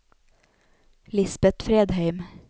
Lisbet Fredheim